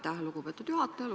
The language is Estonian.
Aitäh, lugupeetud juhataja!